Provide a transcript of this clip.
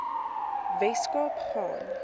wes kaap gaan